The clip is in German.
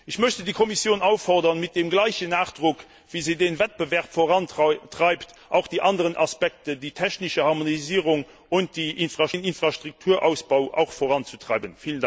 Ich möchte die Kommission auffordern, mit dem gleichen Nachdruck, wie sie den Wettbewerb vorantreibt, auch die anderen Aspekte, die technische Harmonisierung und den Infrastrukturausbau, voranzutreiben.